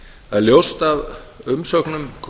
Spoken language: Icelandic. það er ljóst af umsögnum